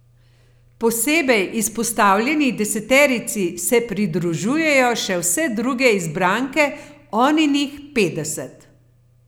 Posebej izpostavljeni deseterici se pridružujejo še vse druge izbranke Oninih petdeset.